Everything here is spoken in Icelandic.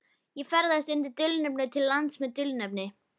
Ég ferðast undir dulnefni til lands með dulnefni.